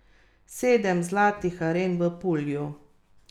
Od povprečja prejšnjega leta je bila nižja za šest odstotnih točk.